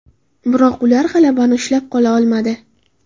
Biroq ular g‘alabani ushla qola olmadi.